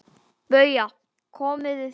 BAUJA: Komið þið hérna!